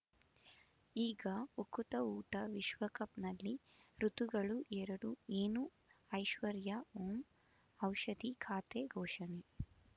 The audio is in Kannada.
ಈಗ ಉಕುತ ಊಟ ವಿಶ್ವಕಪ್‌ನಲ್ಲಿ ಋತುಗಳು ಎರಡು ಏನು ಐಶ್ವರ್ಯಾ ಓಂ ಔಷಧಿ ಖಾತೆ ಘೋಷಣೆ